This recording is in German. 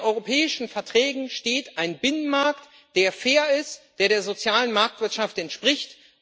In den Europäischen Verträgen steht ein Binnenmarkt, der fair ist, der der sozialen Marktwirtschaft entspricht.